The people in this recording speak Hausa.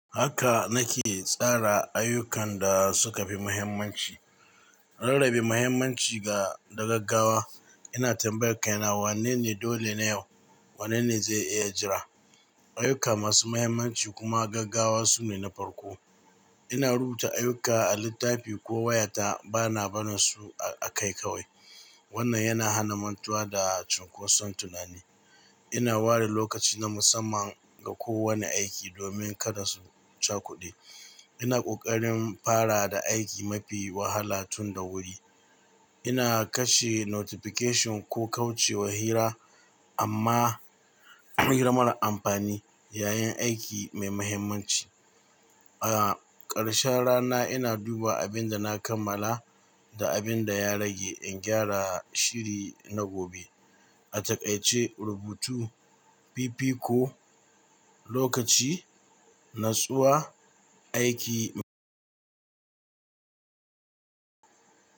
Haka nake tsara ayyukan da suka fi muhimmanci. Rarrabe muhimmanci ga da gaggawa. Ina tambayar kaina wanne ne dole na yau, wanne ne zai iya jira. Ayyuka masu muhimmanci kuma gaggawa sune na farko. Ina rubuta ayyuka a littafi ko wayata, bana barin su a kai kawai. Wannan yana hana mantuwa da cunkoson tunani. Ina ware lokaci na musamman ga kowane aiki domin kada su cakuɗe. Ina ƙoƙarin fara da aiki mafi wahala tun da wuri. Ina kashe notification ko kauce wa hira amma hira marar amfani yayin aiki mai muhimmanci. A ƙarshen rana ina duba abin da na kammala da abin da ya rage in gyara shiri na gobe. A takaice rubutu, fifiko, lokaci, nutsuwa, aiki.